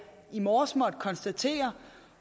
i morges måtte konstatere